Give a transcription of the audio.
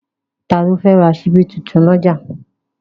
Ta ló fẹ́ ra ṣíbí tuntun lọ́jà?